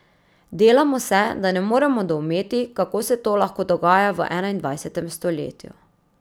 Delamo se, da ne moremo doumeti, kako se to lahko dogaja v enaindvajsetem stoletju.